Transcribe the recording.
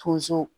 Tonso